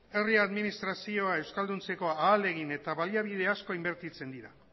herri administrazioa euskalduntzeko ahalegin eta baliabide asko inbertitzen dira